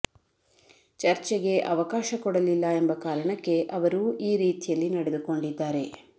ಚರ್ಚೆಗೆ ಅವಕಾಶ ಕೊಡಲಿಲ್ಲ ಎಂಬ ಕಾರಣಕ್ಕೆ ಅವರು ಈ ರೀತಿಯಲ್ಲಿ ನಡೆದುಕೊಂಡಿದ್ದಾರೆ